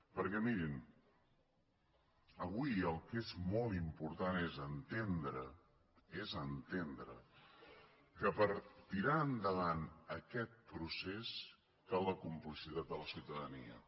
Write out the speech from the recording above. perquè mirin avui el que és molt important és entendre és entendre que per tirar endavant aquest procés cal la complicitat de la ciutadania